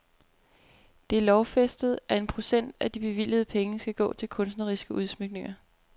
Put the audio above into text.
Det er lovfæstet, at en procent af de bevilgede penge skal gå til kunstneriske udsmykninger.